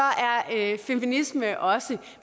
er feminisme også